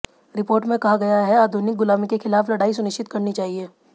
report में कहा गया है आधुनिक गुलामी के खिलाफ लड़ाई सुनिश्चित करनी चाहिए